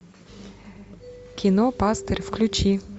кино пастырь включи